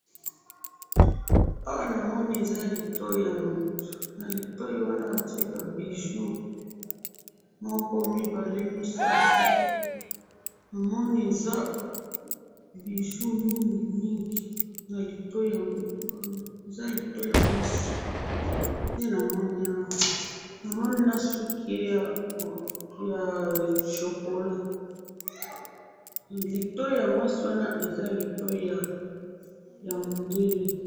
Oyo ezali eloko ya publicité, elingi koloba eloko yakolakisa batu masanga oyo babengi muting, ke ezali masanga kitoko, batu balingaka yango, batu basombaka yango, ezalaka elengi namunoko, po esalisaka batu, babengi yango Muting, oyo ezali publicité naango.